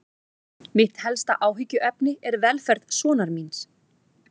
Mitt helsta áhyggjuefni er velferð sonar míns.